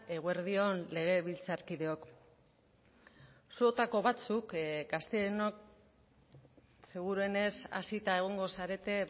eguerdi on legebiltzarkideok zuotako batzuk gazteenok seguruenez hazita egongo zarete